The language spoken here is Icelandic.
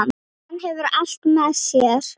Hann hefur allt með sér.